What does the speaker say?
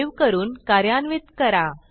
save करून कार्यान्वित करा